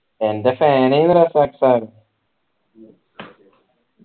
എൻ്റെ fan ഏനു Razak sir